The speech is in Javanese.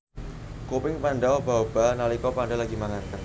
Kuping panda obah obah nalika panda lagi mangan